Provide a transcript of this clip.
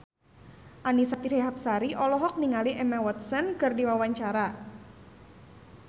Annisa Trihapsari olohok ningali Emma Watson keur diwawancara